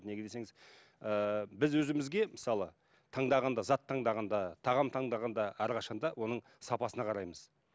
неге десеңіз ыыы біз өзімізге мысалы таңдағанда зат таңдағанда тағам таңдағанда әрқашан да оның сапасына қараймыз